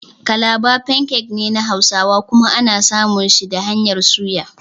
Kalaba "pancake" ne na hausawa kuma ana samun shi da hanyar soya.